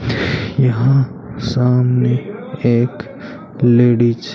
यहां सामने एक लेडिज --